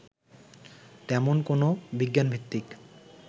তেমন কোনো বিজ্ঞানভিত্তিক